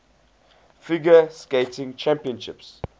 figure skating championships